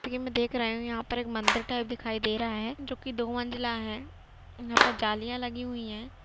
यहाँ पर एक मंदिर टाइप का दिखाई दे रहा है जो की दो मंज़िला है यहाँ पर जालियाँ लगी हुई है।